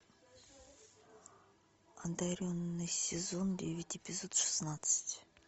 одаренные сезон девять эпизод шестнадцать